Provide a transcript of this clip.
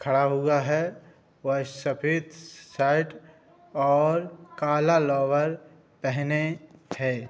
खड़ा हुआ है व सफेद शर्ट और काला लोवर पहने है।